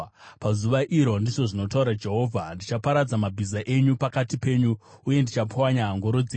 “Pazuva iro,” ndizvo zvinotaura Jehovha, “ndichaparadza mabhiza enyu pakati penyu uye ndichapwanya ngoro dzenyu.